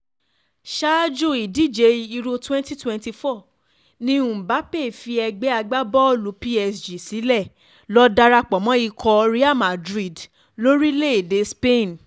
ṣáájú ìdíje euro 2024 ni mbappe fi ẹgbẹ́ agbábọ́ọ̀lù psg sílẹ̀ ló darapọ̀ mọ́ ikọ̀ real madrid lórílẹ̀‐èdè spain